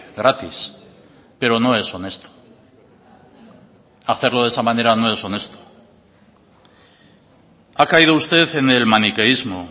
gratis pero no es honesto hacerlo de esa manera no es honesto ha caído usted en el maniqueísmo